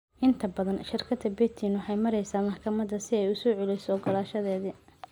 Inta badan, shirkadda Betin waxay maraysaa maxkamadda si ay u soo celiyo ogolaanshadeedii.